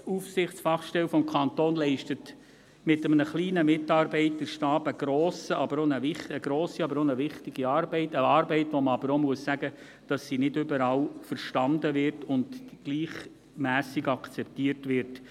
Die Datenschutzaufsichtsfachstelle des Kantons leistet mit einem kleinen Mitarbeiterstab eine grosse und wichtige Arbeit – eine Arbeit, von der man auch sagen muss, dass sie nicht überall verstanden und gleichermassen akzeptiert wird.